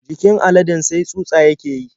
Jikin aladen sai tsutsa yake yi.